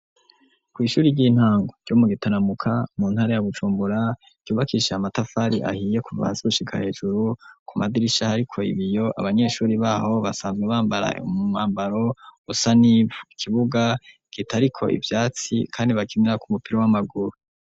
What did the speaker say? Kw'ishuri ry'intango ryo mu Gitaramuka mu ntara ya Bujumbura ryubakishije amatafari ahiye kuva hasi gushika hejuru, ku madirisha hariko ibiyo abanyeshure baho basanzwe bambara umwambaro usa n'ivu, kibuga kitariko ivyatsi kandi bakinirako umupira w'amaguru